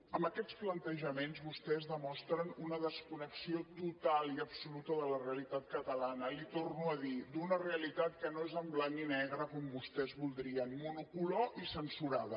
amb aquests plantejaments vostès demostren una desconnexió total i absoluta de la realitat catalana li ho torno a dir d’una realitat que no és en blanc i negre com vostès voldrien monocolor i censurada